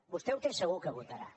vostè ho té segur que votarà